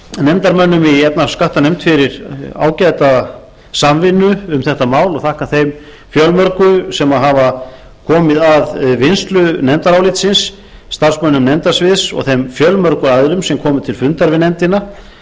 nefndarmönnum í efnahags og skattanefnd fyrir ágæta samvinnu um þetta mál og þakka þeim fjölmörgu sem hafa komið að vinnslu nefndarálitsins starfsmönnum nefnda sviðs og þeim fjölmörgu aðilum sem komu til fundar við nefndina